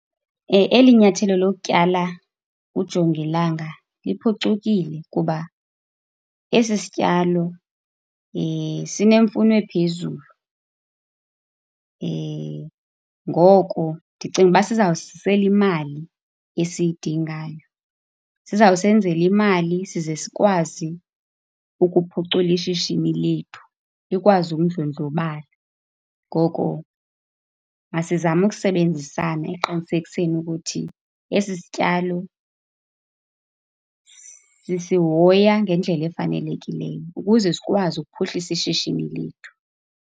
Eli nyathelo lokutyala ujongilanga liphucukile kuba esi sityalo sinemfuno ephezulu, ngoko ndicinga ukuba sizawusizisela imali esiyidingayo. Sizawusenzela imali size sikwazi ukuphucula ishishini lethu, likwazi ukudlondlobala. Ngoko masizame ukusebenzisana ekuqinisekeni ukuthi esi sityalo sisihoya ngendlela efanelekileyo ukuze sikwazi ukuphuhlisa ishishini lethu.